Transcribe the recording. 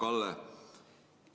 Hea Kalle!